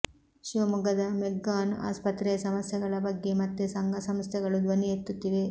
ಶಿವಮೊಗ್ಗದ ಮೆಗ್ಗಾನ್ ಆಸ್ಪತ್ರೆಯ ಸಮಸ್ಯೆಗಳ ಬಗ್ಗೆ ಮತ್ತೆ ಸಂಘ ಸಂಸ್ಥೆಗಳು ಧ್ವನಿ ಎತ್ತುತ್ತಿವೆ